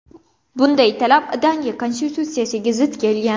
Bunday talab Daniya konstitutsiyasiga zid kelgan.